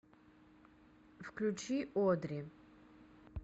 включи одри